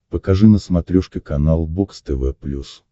покажи на смотрешке канал бокс тв плюс